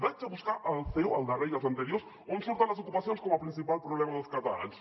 vaig a buscar al ceo al darrer i als anteriors on surten les ocupacions com a principal problema dels catalans